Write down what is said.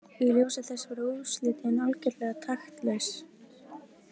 Í ljósi þess voru úrslitin algjörlega taktlaus!